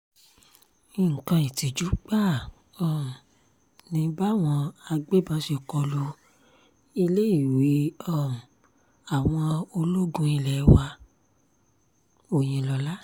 nǹkan ìtìjú gbáà um ni báwọn agbébọn ṣe kó lu iléèwé um àwọn ológun ilé wa-òyìnlọ́la